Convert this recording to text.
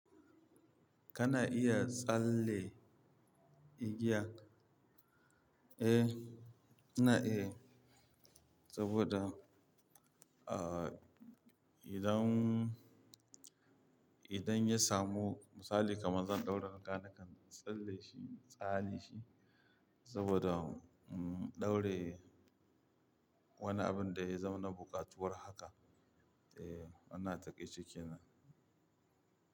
Kana iya tsalle igiya? Eh, ina iyayi saboda, idan, idan ya samu misali kamar zan ɗaura riga, nakan ɓalleshi saboda, ɗaure wani abun daya zama na buƙatuwar haka. Eh, ana takeshi kenan.